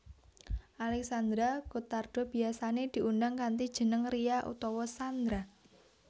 Alexandra Gottardo biyasané diundang kanthi jeneng Ria utawa Xandra